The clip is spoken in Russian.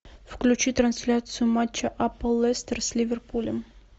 включи трансляцию матча апл лестер с ливерпулем